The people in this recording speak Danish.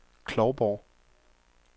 Klovborg